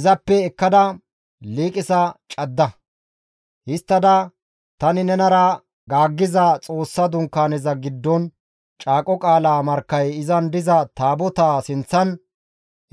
Izappe ekkada liiqisa cadda; histtada tani nenara gaaggiza Xoossa Dunkaaneza giddon Caaqo qaala markkay izan diza Taabotaa sinththan